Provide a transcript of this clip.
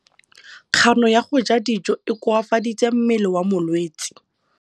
Kganô ya go ja dijo e koafaditse mmele wa molwetse.